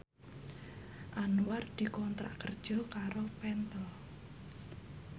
Anwar dikontrak kerja karo Pentel